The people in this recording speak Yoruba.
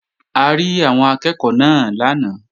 A rí àwọn akẹ́ẹ̀kọ́ náà lánàá